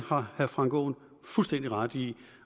har herre frank aaen fuldstændig ret i